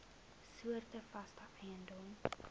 soorte vaste eiendom